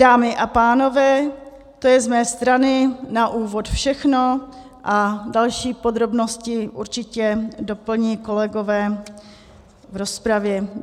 Dámy a pánové, to je z mé strany na úvod všechno a další podrobnosti určitě doplní kolegové v rozpravě.